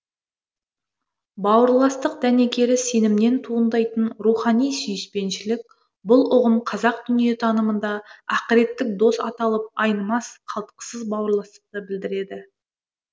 бауырластық дәнекері сенімінен туындайтын рухани сүйіспеншілік бұл ұғым қазақ дүниетанымында ақыреттік дос аталып айнымас қалтқысыз бауырластықты білдіреді